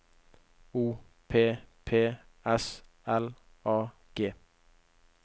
O P P S L A G